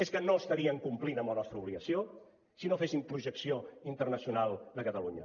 és que no estaríem complint amb la nostra obligació si no féssim projecció internacional de catalunya